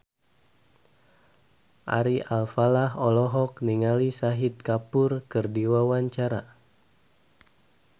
Ari Alfalah olohok ningali Shahid Kapoor keur diwawancara